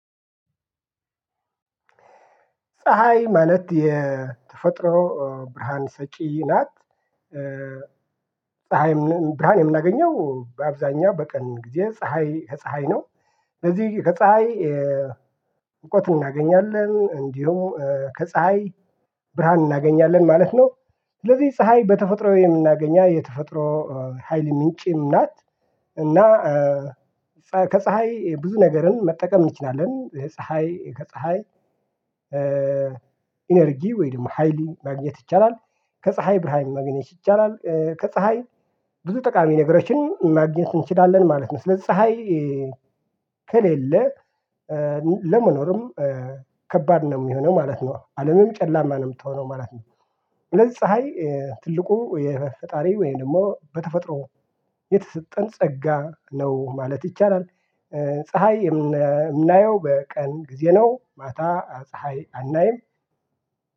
ፀሀይ ማለት የተፈጥሮ ብርሃን ሰጪ ናት። ፀሀይም ብርሃን የምናገኘው በአብዛኛው በቀን ጊዜ ፀሀይ ከፀሀይ ነው። ስለዚህ ከፀሀይ እውቀት እናገኛለን እንዲሁ ከፀሀይ ብርሃን እናገኛለን ማለት ነው። ስለዚህ ፀሀይ በተፈጥሮ የምናገኛ የተፈጥሮ ሀይል ምንጭም ናት እና ከፀሀይ ብዙ ነገርን መጠቀም እንችላለን። ፀሀይ ከፀሀይ ኢነርጂ ወይ ደግሞ ሃይሊ ማግኘት ይቻላል። ከፀሀይ ብርሃን ማግኘት ይቻላል ከፀሀይ ብዙ ጠቃሚ ነገሮችን ማግኘት እንችላለን ማለት ነው። ስለዚህ ፀሀይ ከሌለ ለመኖርም ከባድ ነው ሚሆነው ማለት ነው። አለምም ጨላማ ነው ምትሆነው ማለት ነው። ስለዚህ ፀሀይ ትልቁ የፈጣሪ ወይም ደግሞ በተፈጥሮ የተሰጠን ጸጋ ነው ማለት ይቻላል። ፀሀይ የምና የምናየው በቀን ጊዜ ነው። ማታ ፀሀይ አናይም።